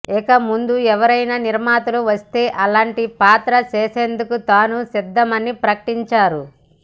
ఇక ముందు ఎవరైనా నిర్మాతలు వస్తే అలాంటి పాత్ర చేసేందుకు తాను సిద్ధమని ప్రకటించారు